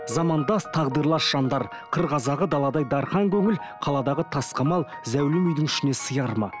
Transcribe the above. замандас тағдырлас жандар қыр қазағы даладай дархан көңіл қаладаға тас қамал зәулім үйдің ішіне сияр ма